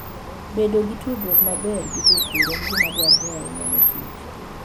Bedo gi tudruok maber gi jopur en gima dwarore ahinya ne kich.